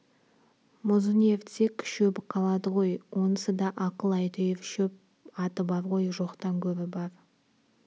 мұзын ерітсек шөбі қалады ғой онысы да ақыл әйтеуір шөп аты бар ғой жоқтан гөрі бар